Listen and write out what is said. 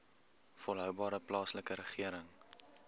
volhoubare plaaslike regering